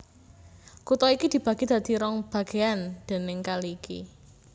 Kutha iki dibagi dadi rong bagéyan déning kali iki